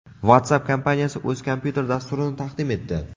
WhatsApp kompaniyasi o‘z kompyuter dasturini taqdim etdi.